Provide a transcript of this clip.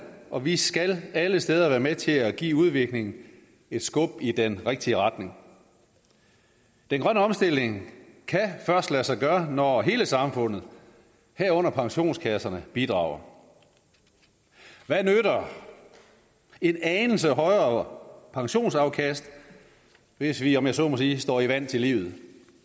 og vi skal alle steder være med til at give udviklingen et skub i den rigtige retning den grønne omstilling kan først lade sig gøre når hele samfundet herunder pensionskasserne bidrager hvad nytter en anelse højere pensionsafkast hvis vi om jeg så må sige står i vand til livet